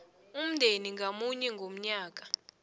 umndeni ngamunye ngomnyaka